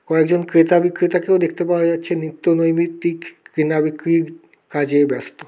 কয়েকজন ক্রেতা বিক্রেতাকেও দেখতে পাওয়া যাচ্ছে নিত্য নৈমিত্তিক কেনা বিক্রির কাজে ব্যস্ত।